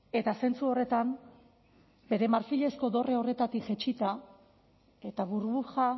eta zentzu horretan bere marfilezko dorre horretatik jaitsita eta burbuja